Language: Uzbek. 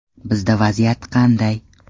Bizda vaziyat qanday?